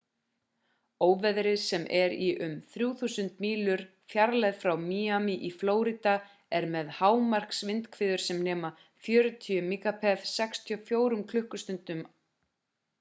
óveðrið sem er í um 3.000 mílu fjarlægð frá miami í flórída er með hámarksvindhviður sem nema 40 mph 64 km/klst